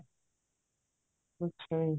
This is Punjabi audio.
ਅੱਛਾ ਜੀ